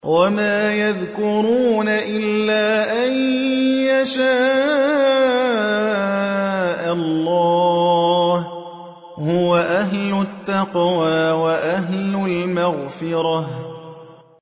وَمَا يَذْكُرُونَ إِلَّا أَن يَشَاءَ اللَّهُ ۚ هُوَ أَهْلُ التَّقْوَىٰ وَأَهْلُ الْمَغْفِرَةِ